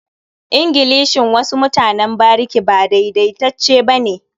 Ingilishin wasu mutanen bariki ba daidaitacce ba ne.